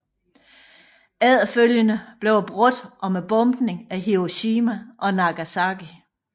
Efterfølgende blev det brugt om bombningen af Hiroshima og Nagasaki